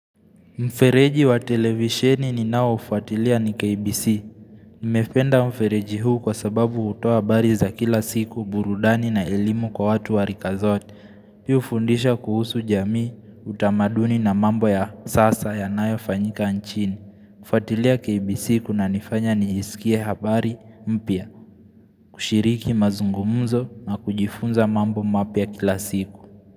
Mfereji wa televisheni ni nao ufuatilia ni KBC. Nimependa mfereji huu kwa sababu hutoa habari za kila siku burudani na elimu kwa watu warika zote. Hii hufundisha kuhusu jamii, utamaduni na mambo ya sasa yanayo fanyika nchini. Kufuatilia KBC kuna nifanya nisikia habari mpya, kushiriki mazungumuzo na kujifunza mambo mapya kila siku.